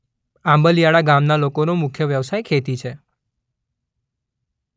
આંબલીયાળા ગામના લોકોનો મુખ્ય વ્યવસાય ખેતી છે.